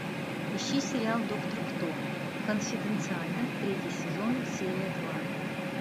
ищи сериал доктор кто конфиденциально третий сезон серия два